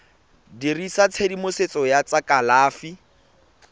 dirisa tshedimosetso ya tsa kalafi